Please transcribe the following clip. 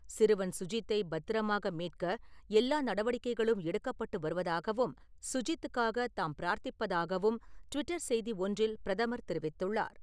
சிறுவன் சுஜித்தை பத்திரமாக மீட்க எல்லா நடவடிக்கைகளும் எடுக்கப்பட்டு வருவதாகவும், சுஜித்துக்காக தாம் பிரார்த்திப்பதாகவும், டுவிட்டர் செய்தி ஒன்றில் பிரதமர் தெரிவித்துள்ளார்.